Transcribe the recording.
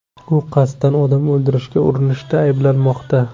U qasddan odam o‘ldirishga urinishda ayblanmoqda.